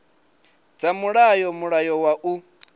dza mulayo mulayo wa u